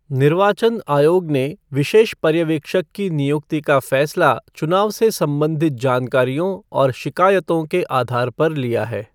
निर्वाचन आयोग ने विशेष पर्यवेक्षक की निुयक्ति का फैसला चुनाव से संबधित जानकारियों और शिकायतों के आधार पर लिया है।